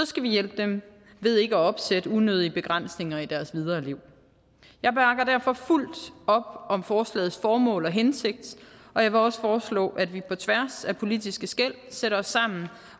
skal vi hjælpe dem ved ikke at opsætte unødige begrænsninger i deres videre liv jeg bakker derfor fuldt op om forslagets formål og hensigt og jeg vil også foreslå at vi på tværs af politiske skel sætter os sammen